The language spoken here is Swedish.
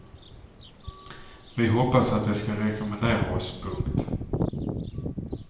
Vi hoppas att de ska rekommendera oss. punkt